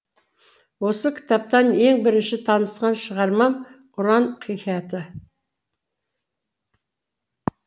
осы кітаптан ең бірінші танысқан шығармам ұран хикаяты